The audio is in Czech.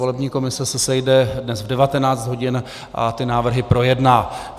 Volební komise se sejde dnes v 19 hodin a ty návrhy projedná.